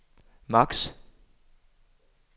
maks